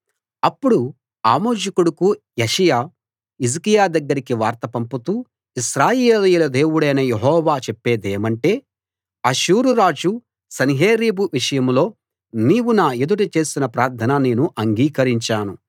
అప్పుడు ఆమోజు కొడుకు యెషయా హిజ్కియా దగ్గరికి వార్త పంపుతూ ఇశ్రాయేలీయుల దేవుడైన యెహోవా చెప్పేదేమంటే అష్షూరురాజు సన్హెరీబు విషయంలో నీవు నా ఎదుట చేసిన ప్రార్థన నేను అంగీకరించాను